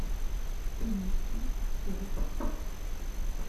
принеси фен